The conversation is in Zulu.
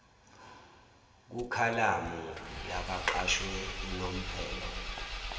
kukhalamu yabaqashwe unomphelo